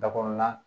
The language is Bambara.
Dakɔrɔnan